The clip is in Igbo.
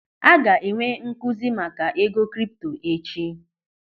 A ga-enwe nkụzi maka ego kripto echi.